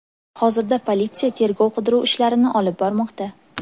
Hozirda politsiya tergov-qidiruv ishlarini olib bormoqda.